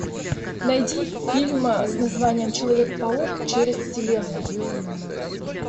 найди фильм с названием человек паук через вселенную